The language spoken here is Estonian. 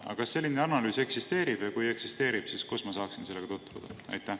Aga kas selline analüüs eksisteerib ja kui eksisteerib, siis kus ma saaksin sellega tutvuda?